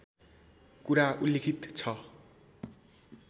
कुरा उल्लिखित छ